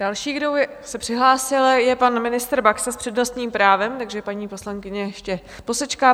Další, kdo se přihlásil, je pan ministr Baxa s přednostním právem, takže paní poslankyně ještě posečká.